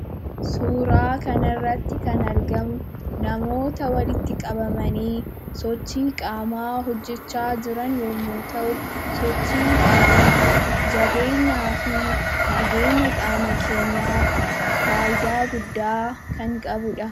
Suuraa kanarratti kan argamu namoota walitti qabamanii sochii qaamaa hojjachaa jiran yommuu ta'u, sochiin qaamaa jabeenyaa fi nageenya qaama keenyaaf fayidaa guddaa kan qabudha.